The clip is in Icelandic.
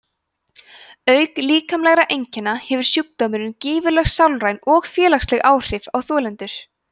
auk líkamlegra einkenna hefur sjúkdómurinn gífurleg sálræn og félagsleg áhrif á þolendur